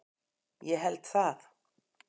Ég held það?